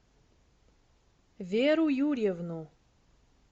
веру юрьевну